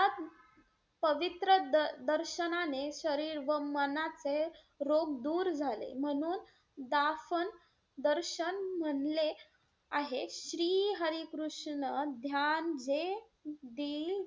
पवित्र दर~ दर्शनाने शरीर व मनाचे रोग दूर झाले. म्हणून दाफन~ दर्शन म्हणले आहे श्री हरी कृष्ण ध्यान हे ,